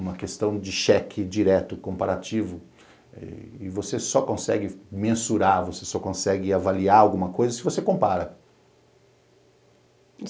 uma questão de cheque direto, comparativo, e você só consegue mensurar, você só consegue avaliar alguma coisa se você compara.